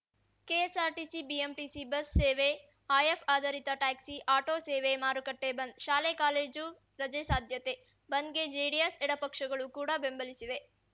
KSRTC BMTC bus ಸೇವೆ app ಆಧರಿತ taxi auto ಸೇವೆ ಮಾರುಕಟ್ಟೆಬಂದ್‌ ಶಾಲೆಕಾಲೇಜು ರಜೆ ಸಾಧ್ಯತೆ ಬಂದ್‌ಗೆ ಜೆಡಿಎಸ್‌ ಎಡಪಕ್ಷಗಳು ಕೂಡ ಬೆಂಬಲಿಸಿವೆ